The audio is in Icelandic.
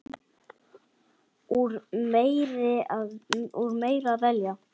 Úr meiru að velja!